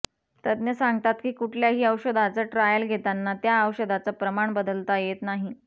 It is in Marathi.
तज्ज्ञ सांगतात की कुठल्याही औषधाचं ट्रायल घेताना त्या औषधाचं प्रमाण बदलता येत नाही